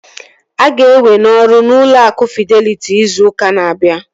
A ga-ewe n'ọrụ n'ụlọ akụ Fideliti izu ụka na-abịa